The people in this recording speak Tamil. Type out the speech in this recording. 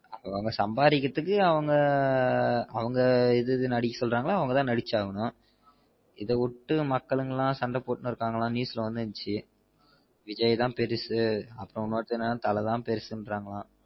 அவங்க சம்பாரிகுறதுக்கு அவங்க அவங்க இது இது நடிக்க சொல்ராங்களோ அவங்க தான் நடிச்சு ஆகனும் இத விட்டு மக்கள் எல்லாம் சண்ட போட்டு இருக்காங்கலாம் news ல வந்திருந்திச்சு விஜய் தான் பெருசு மத்தவங்க தல தான் பெருசுன்றாங்கலாம்